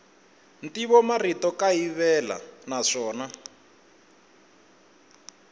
ntivomarito wa kayivela naswona